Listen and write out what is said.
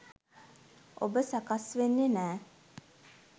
ඔබ සකස් වෙන්නෙ නෑ.